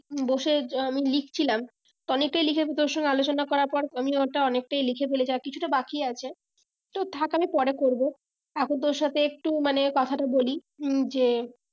বসে আমি লিখছিলাম অনেকটাই লিখেছি তোর সঙ্গে আলোচনা করার পর আমি ওটা অনেকটাই লিখে ফেলেছি আর কিছুটা বাকি আছে তো থাক আমি পরে করবো এখন তোর সাথে একটু মানে কথাটা বলি উম যে